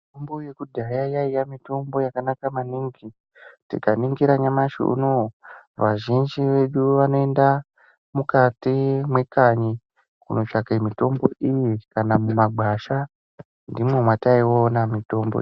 Mitombo yekudhayaa yaiya mitombo yakanaka maningi, tikaningira nyamashi unowu , vazhinji vedu vanoenda mukati mwekanyi kunotsvaka mitombo iyi kana mumagwasha ndimwo mwataiona mitombo iyi.